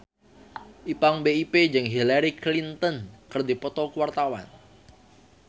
Ipank BIP jeung Hillary Clinton keur dipoto ku wartawan